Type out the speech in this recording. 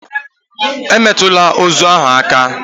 Emetụla ozu ahụ aka!